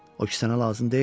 O ki sənə lazım deyil.